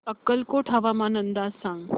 अक्कलकोट हवामान अंदाज सांग